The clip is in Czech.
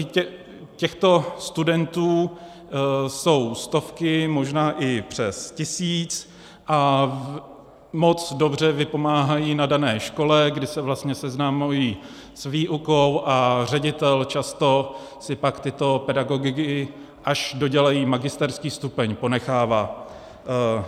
I těchto studentů jsou stovky, možná i přes tisíc, a moc dobře vypomáhají na dané škole, kdy se vlastně seznamují s výukou, a ředitel často si pak tyto pedagogy, až dodělají magisterský stupeň, ponechává.